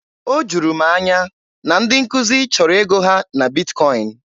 O juru m anya na ndị nkuzi chọrọ ego ha na Bitkọin.